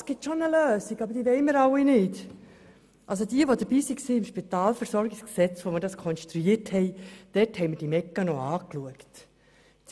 Alle, die damals dabei waren, als wir das SpVG konstruierten, erinnern sich, dass wir die entsprechenden Mechanismen angeschaut hatten.